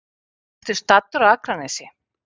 Ertu staddur á Akranesi?